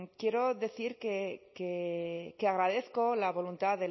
quiero decir que agradezco la voluntad